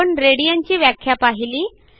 आपण radianची व्याख्या पाहिली